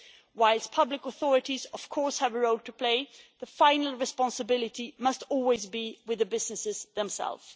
Whilst public authorities, of course, have a role to play, the final responsibility must always be with the businesses themselves.